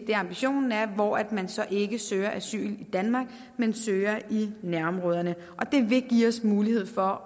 det ambitionen er hvor man så ikke søger asyl i danmark men søger i nærområderne det vil give os mulighed for